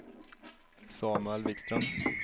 Samuel Vikström